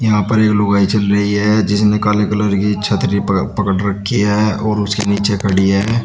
यहां पर एक लुगाई चल रही है जिसने काले कलर की छतरी प पकड़ रखी है और उसके नीचे खड़ी है।